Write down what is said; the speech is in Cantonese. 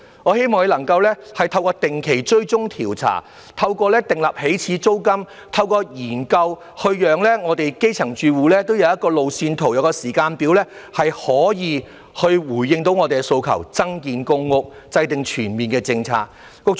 我希望當局能夠透過定期追蹤調查、訂立起始租金及研究，讓我們基層住戶都有一個路線圖、一個時間表，從而可以回應我們的訴求，增建公屋和制訂全面的政策。